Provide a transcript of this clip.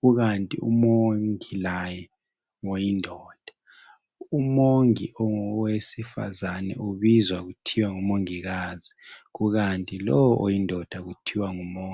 kukanti umongi laye ngoyindoda, Umongi ongowesifazane ubizwa kuthiwa ngumongikazi kukanti lowu oyindoda kuthiwa ngumongi.